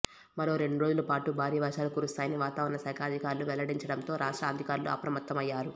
మరో రెండు రోజుల పాటు భారీ వర్షాలు కురుస్తాయని వాతావరణ శాఖ అధికారులు వెల్లడించటంతో రాష్ట్ర అధికారులు అప్రమత్తమయ్యారు